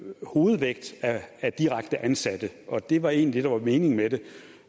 hovedvægt af direkte ansatte det var egentlig det der var meningen med det